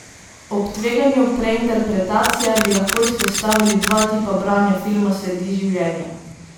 Ob tveganju preinterpretacije bi lahko izpostavili dva tipa branja filma Sledi življenja.